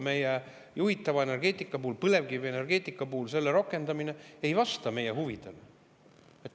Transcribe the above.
Meie juhitava energeetika puhul, põlevkivienergeetika puhul selle rakendamine ei vasta meie huvidele.